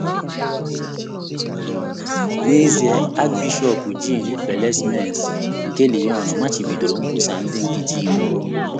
N’ezie, Archbishọp Jean Bellesmains nke Lyons machibidoro nkwusa ndị nkịtị iwu.